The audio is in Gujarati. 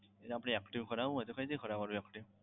એને આપણે active કરાવવો હોય તો કઈ રીતે કરાવવાનો active?